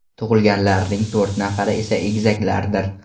Tug‘ilganlarning to‘rt nafari esa egizaklardir.